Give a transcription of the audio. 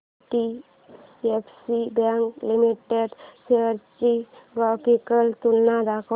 IDFC bank limited shares ची graphical तुलना दाखव